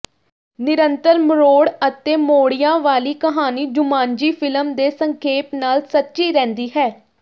ਨਿਰੰਤਰ ਮਰੋੜ ਅਤੇ ਮੋੜਿਆਂ ਵਾਲੀ ਕਹਾਣੀ ਜੁਮਾਂਜੀਫਿਲਮ ਦੇ ਸੰਖੇਪ ਨਾਲ ਸੱਚੀ ਰਹਿੰਦੀ ਹੈ